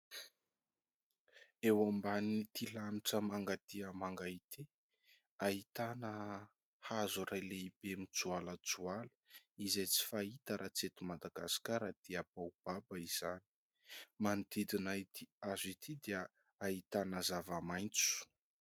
Eo ambanin'ity lanitra manga dia manga ity ahitana hazo iray lehibe mijoalajoala izay tsy fahita raha tsy eto Madagasikara dia baobaba izany, manodidina ity hazo ity dia ahitana zava-maitso.